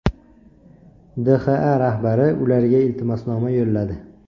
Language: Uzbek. DXA rahbari ularga iltimosnoma yo‘lladi.